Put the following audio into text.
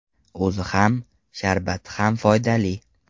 O‘zi ham, sharbati ham foydali.